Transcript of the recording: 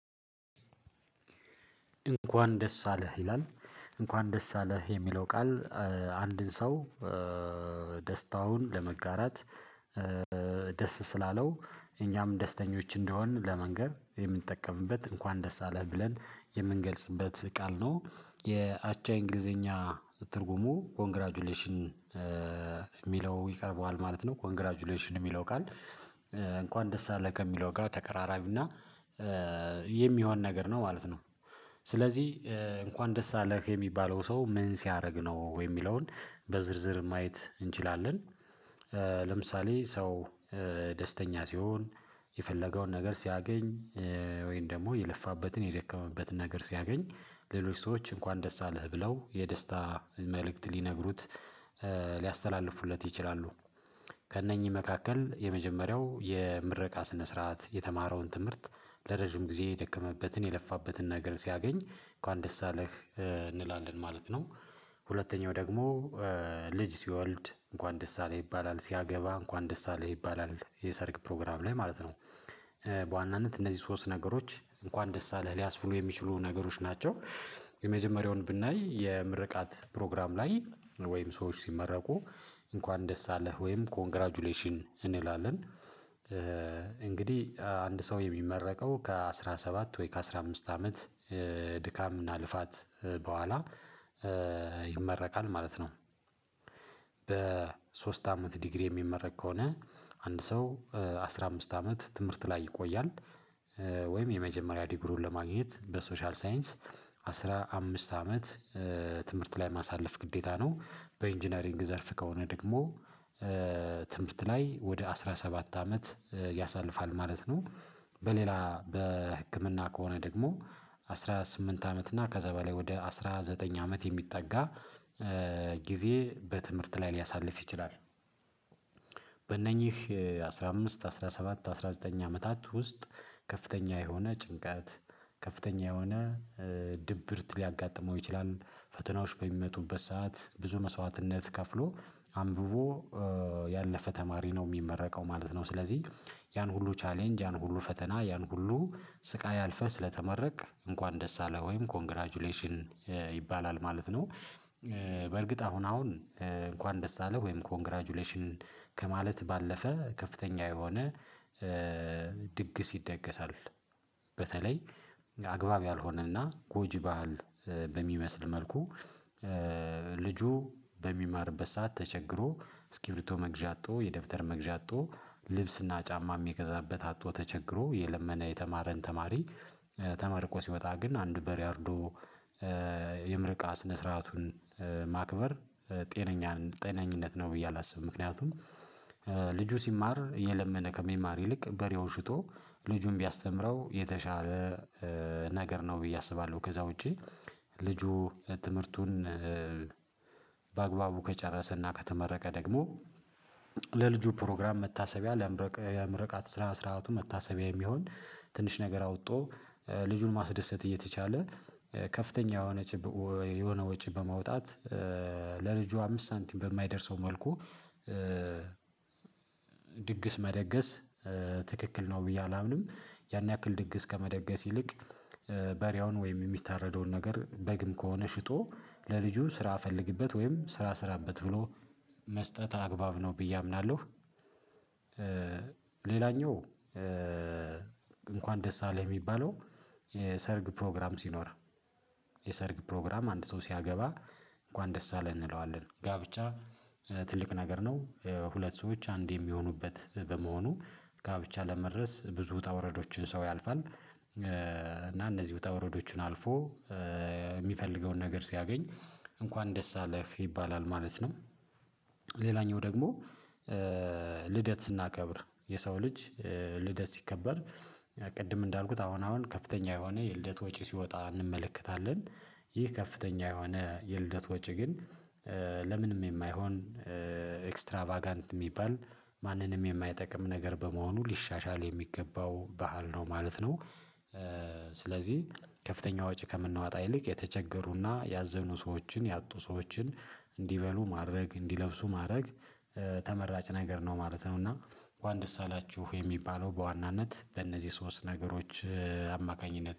እንኳን ደስ አለህ ይላል እንኳን ደስ አለህ የሚለው ቃል። አንድን ሰው ደስታውን ለመጋራት። ደስ ስላለው እኛም ደስተኞች እንደሆንን ለመንገር የምንጠቀምበት እንኳን ደስ አለህ ብለን የምንገልጽበት ቃል ነው። የአቻ እንግሊዘኛ ትርጉሙ ኮንግራጁሌሽን። ሚለው ይቀርበዋል ማለት ነው ኮንግራጁሌሽን እሚለው ቃል። እንኳን ደስ አለህ ከሚለው ጋር ተቀራራቢ እና የሚሆን ነገር ነው ማለት ነው። ስለዚህ እንኳን ደስ አለህ የሚባለው ሰው ምን ሲያረግ ነው የሚለውን በዝርዝር ማየት እንችላለን። ለምሳሌ ሰው ደስተኛ ሲሆን የፈለገውን ነገር ሲያገኝ ወይም ደግሞ የለፋበትን የደከመበትን ነገር ሲያገኝ ሌሎች ሰዎች እንኳን ደስ አለህ ብለው የደስታ መልእክት ሊነግሩት ሊያስተላልፉለት ይችላሉ። ከእነኚህ መካከል የመጀመሪያው የምረቃ ስነ ስርዓት የተማረውን ትምህርት ለረጅም ጊዜ የደከመበትን የለፋበትን ነገር ሲያገኝ እንኳን ደስ አለህ እንላለን ማለት ነው። ሁለተኛው ደግሞ ልጅ ሲወልድ እንኳን ደስ አለህ ይባላል ሲያገባ እንኳን ደስ አለህ ይባላል የሰርግ ፕሮግራም ላይ ማለት ነው። በዋናነት እነዚህ ሶስት ነገሮች እንኳን ደስ አለህ ሊያስብሉ የሚችሉ ነገሮች ናቸው። የመጀመሪያውን ብናይ የምርቃት ፕሮግራም ላይ ወይም ሰዎች ሲመረቁ እንኳን ደስ አለህ ወይም ኮንግራጁሌሽን እንላለን። እንግዲህ አንድ ሰው የሚመረቀው ከአሥራ ሰባት ወይ ከአሥራ አምስት አመት ድካም እና ልፋት በኋላ ይመረቃል ማለት ነው። በሶስት አመት ዲግሪ የሚመረቅ ከሆነ አንድ ሰው አስራ አምስት አመት ትምህርት ላይ ይቆያል። ወይም የመጀመሪያ ዲግሪውን ለማግኘት በሶሻል ሳይንስ አስራ አምስት አመት ትምህርት ላይ ማሳለፍ ግዴታ ነው። በኢንጅነሪንግ ዘርፍ ከሆነ ደግሞ ትምህርት ላይ ወደ አስራ ሰባት አመት ያሳልፋል ማለት ነው። በሌላ በህክምና ከሆነ ደግሞ አስራ ስምንት አመት እና ከዛ በላይ ወደ አስራ ዘጠኝ አመት የሚጠጋ ጊዜ በትምህርት ላይ ሊያሳልፍ ይችላል። በእነኚህ አስራ አምስት አስራ ሰባት አስራ ዘጠኝ አመታት ውስጥ ከፍተኛ የሆነ ጭንቀት ከፍተኛ የሆነ ድብርት ሊያጋጥመው ይችላል ፈተናዎች በሚመጡበት ሰዓት ብዙ መስዋዕትነት ከፍሎ አንብቦ ያለፈ ተማሪ ነው ሚመረቀው ማለት ነው። ስለዚህ ያን ሁሉ ቻሌንጅ ያን ሁሉ ፈተና ያን ሁሉ ስቃይ አልፈህ ስለተመረቅክ እንኳን ደስ አለህ ወይም ኮንግራጁሌሽን ይባላል ማለት ነው። በእርግጥ አሁን አሁን እንኳን ደስ አለህ ወይም ኮንግራጁሌሽን ከማለት ባለፈ ከፍተኛ የሆነ ድግስ ይደገሳል። በተለይ አግባብ ያልሆነ እና ጎጂ ባህል በሚመስል መልኩ። ልጁ በሚማርበት ሰዓት ተቸግሮ እስኪብርቶ መግዣ አጥቶ የደብተር መግዣ አጥቶ ልብስ እና ጫማ ሚገዛበት አጥቶ ተቸግሮ እየለመነ የተማረን ተማሪ ተመርቆ ሲወጣ ግን አንድ በሬ አርዶ የምረቃ ስነ ስርዓቱን ማክበር ጤነኛን ጤነኝነት ነው ብዬ አላስብም። ምክንያቱም ልጁ ሲማር እየለመነ ከሚማር ይልቅ በሬውን ሽጦ ልጁን ቢያስተምረው የተሻለ ነገር ነው ብዬ አስባለሁ። ከዛ ውጪ ልጁ ትምህርቱን በአግባቡ ከጨረሰና ከተመረቀ ደግሞ ለልጁ ፕሮግራም መታሰቢያ ለምረቃ የምርቃት ስራ ስርዓቱ መታሰቢያ የሚሆን ትንሽ ነገር አውጦ ልጁን ማስደሰት እየተቻለ ከፍተኛ የሆነ የሆነ ወጪ በማውጣት ለልጁ አምስት ሳንቲም በማይደርሰው መልኩ ድግስ መደገስ ትክክል ነው ብዬ አላምንም። ያን ያክል ድግስ ከመደገስ ይልቅ በሪያውን ወይም የሚታረደውን ነገር በግም ከሆነ ሽጦ ለልጁ ስራ ፈልግበት ወይም ስራ ስራበት ብሎ መስጠት አግባብ ነው ብዬ አምናለሁ። ሌላኛው እንኳን ደስ አለህ የሚባለው የሰርግ ፕሮግራም ሲኖር የሰርግ ፕሮግራም አንድ ሰው ሲያገባ እንኳን ደስ አለን እንለዋለን ጋብቻ ትልቅ ነገር ነው ሁለት ሰዎች አንድ የሚሆኑበት በመሆኑ ጋብቻ ለመድረስ ብዙ ውጣ ውረዶችን ሰው ያልፋል እና እነዚህ ውጣ ውረዶችን አልፎ የሚፈልገውን ነገር ሲያገኝ እንኳን ደስ አለህ ይባላል ማለት ነው። ሌላኛው ደግሞ ልደት ስናከብር የሰው ልጅ ልደት ሲከበር ቅድም እንዳልኩት አሁን አሁን ከፍተኛ የሆነ የልደት ወጪ ሲወጣ እንመለከታለን። ይህ ከፍተኛ የሆነ የልደት ወጪ ግን ለምንም የማይሆን ኤክስትራቫጋንት የሚባል ማንንም የማይጠቅም ነገር በመሆኑ ሊሻሻል የሚገባው ባህል ነው ማለት ነው። ስለዚህ ከፍተኛ ወጪ ከምንዋጣ ይልቅ የተቸገሩና ያዘኑ ሰዎችን ያጡ ሰዎችን እንዲበሉ ማድረግ እንዲለብሱ ማድረግ ተመራጭ ነገር ነው ማለት ነው እና። እንኳን ደስ አላችሁ የሚባለው በዋናነት በእነዚህ ሶስት ነገሮች አማካኝነት